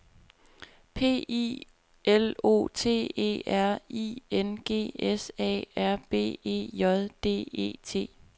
P I L O T E R I N G S A R B E J D E T